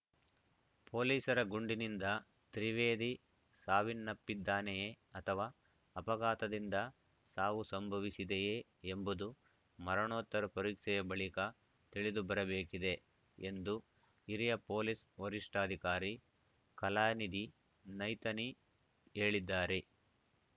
ಪೊಲೀಸರ ಗುಂಡಿನಿಂದ ತ್ರಿವೇದಿ ಸಾವನ್ನಪ್ಪಿದ್ದಾನೆಯೇ ಅಥವಾ ಅಪಘಾತದಿಂದ ಸಾವು ಸಂಭವಿಸಿದೆಯೇ ಎಂಬುದು ಮರಣೋತ್ತರ ಪರೀಕ್ಷೆಯ ಬಳಿಕ ತಿಳಿದುಬರಬೇಕಿದೆ ಎಂದು ಹಿರಿಯ ಪೊಲೀಸ್‌ ವರಿಷ್ಠಾಧಿಕಾರಿ ಕಲಾನಿಧಿ ನೈತನಿ ಹೇಳಿದ್ದಾರೆ